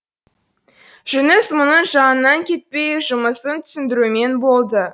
жүніс мұның жанынан кетпей жұмысын түсіндірумен болды